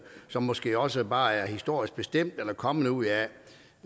som måske også bare er historisk bestemt eller kommet ud af